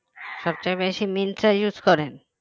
সবচেয়ে বেশি মিন্ত্রা use করেন